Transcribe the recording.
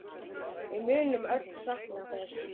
Við munum öll sakna þess.